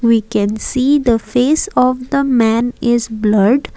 we can see the face of the man is blurred.